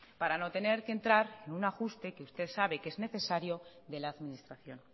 para no tener que entrar en un ajuste que usted sabe que es necesario de la administración